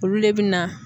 Olu le bɛ na